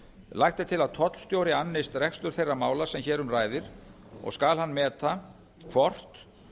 lagt er til að tollstjóri annist rekstur þeirra mála sem hér um ræðir og skal hann meta hvort